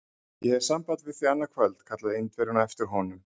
Ég hef samband við þig annað kvöld! kallaði Indverjinn á eftir honum.